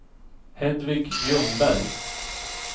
Hedvig Ljungberg